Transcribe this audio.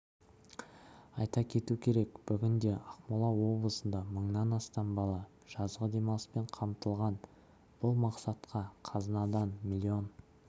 айта кету керек бүгінде ақмола облысында мыңнан астам бала жазғы демалыспен қамтылған бұл мақсатқа қазынадан млн